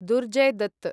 Durjoy Dutt